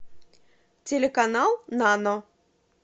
телеканал нано